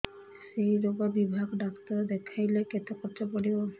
ସେଇ ରୋଗ ବିଭାଗ ଡ଼ାକ୍ତର ଦେଖେଇଲେ କେତେ ଖର୍ଚ୍ଚ ପଡିବ